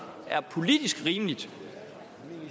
er politisk rimeligt